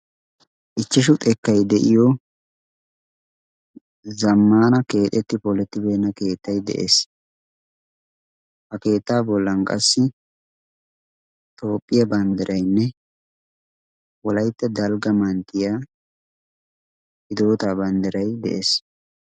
Ichchashu xekkay de'iyo zammaana keexetti polettibeenna keettai de'ees. ha keettaa bollan qassi xoophphiyaa banddiraynne wolaitta dalgga manttiya hidootaa banddirai de'ees.